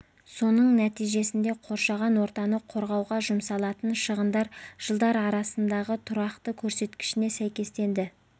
соның нәтижесінде қоршаған ортаны қорғауға жұмсалатын шығындар жылдар арасындағы тұрақты көрсеткішіне сәйкестенді